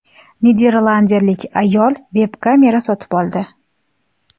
Niderlandiyalik ayol veb-kamera sotib oldi.